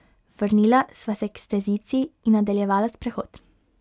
Vrnila sva se k stezici in nadaljevala sprehod.